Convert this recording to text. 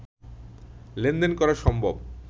লেনদেন করা সম্ভব